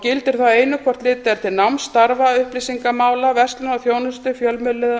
gildir þá einu hvort litið er til náms starfa upplýsingamála verslunar og þjónustu fjölmiðlunar